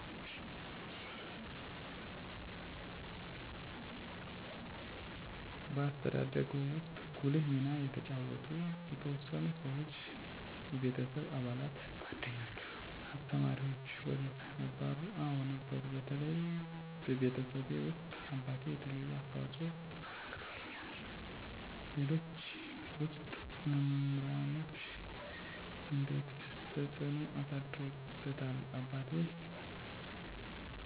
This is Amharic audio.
በአስተዳደግዎ ውስጥ ጉልህ ሚና የተጫወቱ የተወሰኑ ሰዎች (የቤተሰብ አባላት፣ ጓደኞች፣ አስተማሪዎች ወዘተ) ነበሩ? አዎ ነበሩ በተለይ ቤተሰቤ ውስጥ አባቴ የተለየ አስተዋፅኦ አበርክቶልኛል ሌሎች ውስጥ መምራኖቼ እንዴትስ ተጽዕኖ አሳድረውብዎታል አባቴ የማህበረሰቡ ውስጥ የተከበረ ሰው ወዳድ ነበር እናም እኔም የእሱን እሴቶች ጠብቄ እንድኖር እና ለዛሬ ጥንካሬየን አስጠብቄ ህይወቴን እንድመራ አድርጎኛል ሌላም የአካባቢው ማህበረሰብ ሲሆን በተለይ የሳይንስ መምህሮቼ ለሳይንስ ልዬ ትኩረት እንድሰጥ አድጌ የእነሱን ፈለግ እንድከተል አድርገዋል እኔም እንደነሱ መምህር ለመሆን ነበር ፍለጎቴ